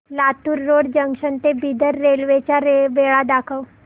Latur road junction ते Bidar railway च्या वेळा दाखव